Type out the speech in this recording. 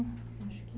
Acho que